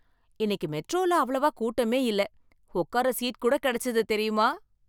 இன்னைக்கு மெட்ரோல அவ்வளவா கூட்டமே இல்ல, உட்கார சீட் கூட கிடைச்சது தெரியுமா?